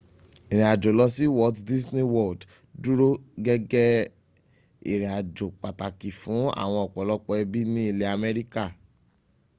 ìrìn àjò lọ sí walt disney world dúró gẹ́gẹ́ ìrìnàjò pàtàkì fún àwọn ọ̀pọ̀lọpọ̀ ẹbí ní ilẹ̀ amẹ́ríkà